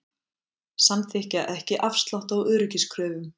Samþykkja ekki afslátt á öryggiskröfum